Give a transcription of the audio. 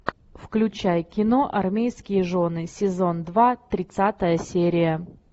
включай кино армейские жены сезон два тридцатая серия